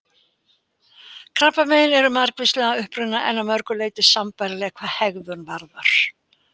Krabbamein eru margvísleg að uppruna, en að mörgu leyti sambærileg hvað hegðun varðar.